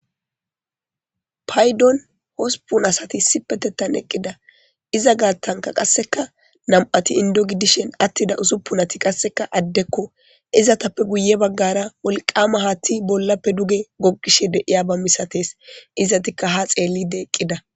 Paydon hosupun asati sipetettan eqqida iza gaattanka qasseka nam'ati indogidishen attida usuppunati qasseka addekko izatappe guye baggara wolqama haatti bollappe duge goqishe deiya ba misates izatikka ha xeellide eqqida